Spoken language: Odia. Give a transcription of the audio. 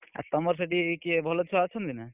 ଆଉ ତମର ସେଠି କିଏ ଭଲ ଛୁଆ ଅଛନ୍ତି ନା?